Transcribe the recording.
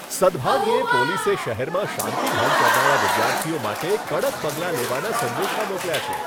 સદભાગ્યે, પોલીસે શહેરમાં શાંતિ ભંગ કરનારા વિદ્યાર્થીઓ માટે કડક પગલાં લેવાના સંદેશા મોકલ્યા છે.